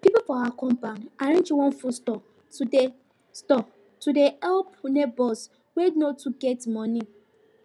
people for our compound arrange one food store to dey store to dey help neighbors wey no too get money